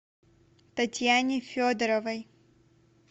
татьяне федоровой